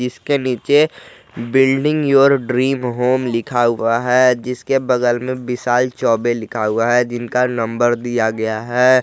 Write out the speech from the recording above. इसके नीचे building your dream home लिखा हुआ है जिसके बगल में विशाल चौबे लिखा हुआ है जिनका नंबर दिया गया है।